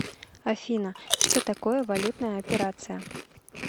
афина что такое валютная операция